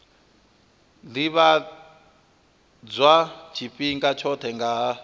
ḓivhadzwa tshifhinga tshoṱhe nga ha